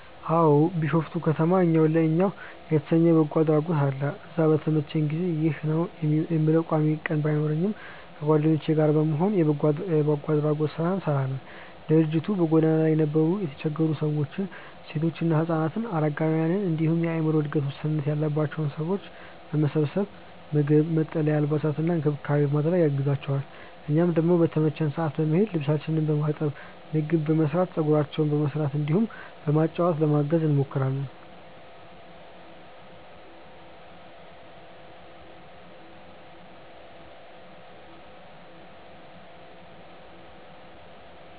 አዎ። ቢሾፍቱ ከተማ እኛው ለእኛው የተሰኘ የበጎ አድራጎት አለ። እዛ በተመቸኝ ጊዜ (ይህ ነው የምለው ቋሚ ቀን ባይኖረኝም) ከጓደኞቼ ጋር በመሆን የበጎ አድራጎት ስራ እንሰራለን። ድርጅቱ በጎዳና ላይ የነበሩ የተቸገሩ ሰዎችን፣ ሴቶችና ህፃናትን፣ አረጋውያንን እንዲሁም የአዕምሮ እድገት ውስንነት ያለባቸውን ሰዎች በመሰብሰብ ምግብ፣ መጠለያ፣ አልባሳትና እንክብካቤ በማድረግ ያግዛቸዋል። እኛም ደግሞ በተመቸን ሰዓት በመሄድ ልብሳቸውን በማጠብ፣ ምግብ በመስራት፣ ፀጉራቸውን በመስራት እንዲሁም በማጫወት ለማገዝ እንሞክራለን።